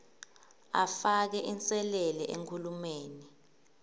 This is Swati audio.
afake inselele enkhulumeni